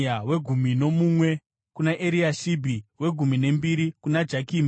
wegumi nomumwe kuna Eriashibhi, wegumi nembiri kuna Jakimi,